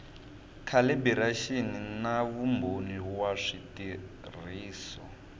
calibiraxini na vumbhoni wa switirhiso